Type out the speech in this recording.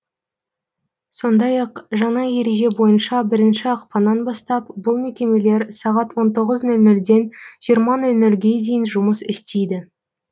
сондай ақ жаңа ереже бойынша бірінші ақпаннан бастап бұл мекемелер сағат он тоғыз нөл нөлден жиырма нөл нөлге дейін жұмыс істейді